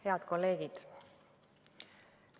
Head kolleegid!